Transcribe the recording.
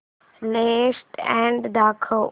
latest ad दाखव